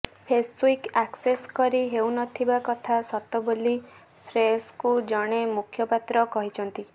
Facebook access କରି ହେଉ ନ ଥିବା କଥା ସତ ବୋଲି ଫେସ୍ବୁକ୍ର ଜଣେ ମୁଖପାତ୍ର କହିଛନ୍ତି